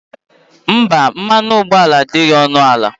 Mba, mmanụ ụgbọala adịghị ọnụ ala